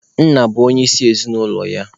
Nna bụ onyeisi ezinaụlọ ya.